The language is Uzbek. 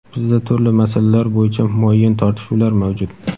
Bizda turli masalalar bo‘yicha muayyan tortishuvlar mavjud.